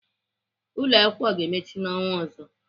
Ụlọakwụkwọ ga-emechi n'ọnwa ọzọ.